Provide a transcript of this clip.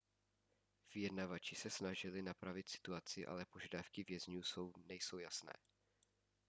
vyjednavači se snažili napravit situaci ale požadavky vězňů nejsou jasné